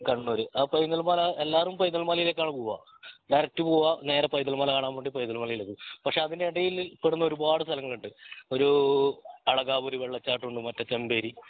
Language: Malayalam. കണ്ണൂർ ആ പൈതൽ മല എല്ലാരും പൈതൽ മലയിലേക്കു ആണ് പുവ ഡയറക്റ്റ് പോവേ നേരെ പൈതൽ മല കാണാൻ വേണ്ടി പൈതൽ മലയിലേക്കു പക്ഷെ അതിനിടയിൽ പെടുന്ന ഒരുപാട് സ്ഥലങ്ങളുണ്ട് ഒരു അദ്കാപുരി വെള്ളച്ചാട്ടം ഉണ്ട് മറ്റേ ചെമ്പേരി